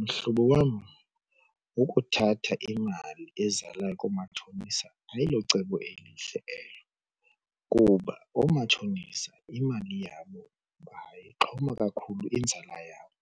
Mhlobo wam ukuthatha imali ezalayo koomatshonisa ayilocebo elihle elo kuba oomatshonisa imali yabo bayixhoma kakhulu inzala yabo.